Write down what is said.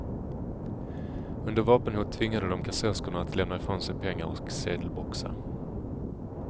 Under vapenhot tvingade de kassörskorna att lämna ifrån sig pengar och sedelboxar.